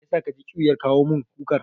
Mai yasa ka ji ƙyuyar kawo min kukar?